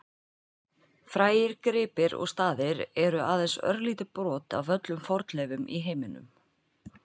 Frægir gripir og staðir eru aðeins örlítið brot af öllum fornleifum í heiminum.